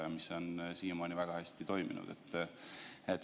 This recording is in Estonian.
Siiamaani on see väga hästi toiminud.